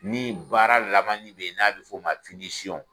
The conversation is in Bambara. Ni baara labanni de n'a bi f'o ma